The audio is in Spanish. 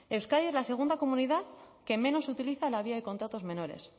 euskadi es la segunda comunidad que menos utiliza la vía de contratos menores